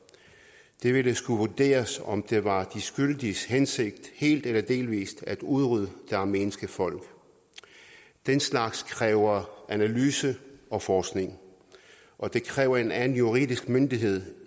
det ville skulle vurderes om det var de skyldiges hensigt helt eller delvis at udrydde det armenske folk den slags kræver analyse og forskning og det kræver en anden juridisk myndighed